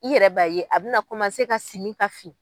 I yɛrɛ b'a ye a bɛna na komase ka siɲi ka fin.